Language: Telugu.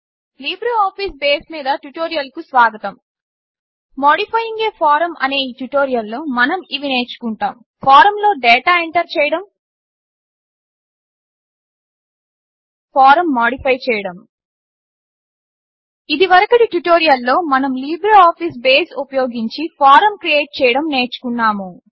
లిబ్రేఅఫీస్ బేస్ మీద ట్యుటోరియల్కు స్వాగతం మాడిఫయింగ్ అ ఫారమ్ అనే ఈ ట్యుటోరియల్లో మనం ఇవి నేర్చుకుంటాము ఫారమ్లో డాటా ఎంటర్ చేయడం ఫారమ్ మాడిఫై చేయడం ఇదివరకటి ట్యుటోరియల్లో మనం లిబ్రేఅఫీస్ బేస్ ఉపయోగించి ఫారమ్ క్రియేట్ చేయడం నేర్చుకున్నాము